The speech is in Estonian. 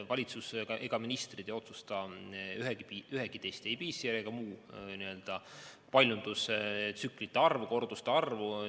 Valitsus, ministrid ei otsusta ühegi testi, ei PCR‑i ega muu paljundustsüklite arvu, korduste arvu.